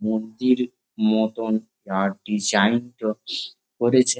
মূর্তির মতন আর ডিসাইন -তো করেছে ।